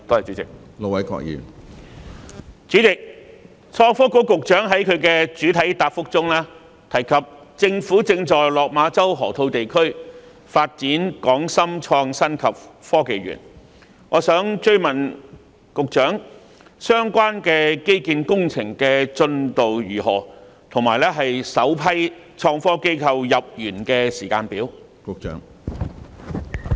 主席，創新及科技局局長在主體答覆中提及，政府正在落馬洲河套地區發展創科園，我想追問局長，相關基建工程的進度如何及首批創科機構入園的時間表？